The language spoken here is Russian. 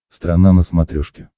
страна на смотрешке